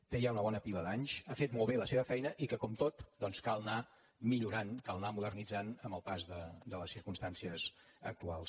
té ja una bona pila d’anys ha fet molt bé la seva feina i que com tot doncs cal anar millorant cal anar modernit·zant amb el pas de les circumstàncies actuals